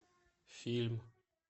фильм